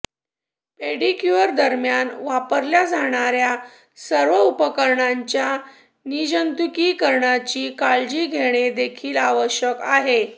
pedicure दरम्यान वापरल्या जाणार्या सर्व उपकरणांच्या निर्जंतुकीकरणांची काळजी घेणे देखील आवश्यक आहे